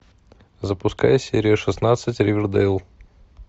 запускай серию шестнадцать ривердейл